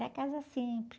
É a casa simples.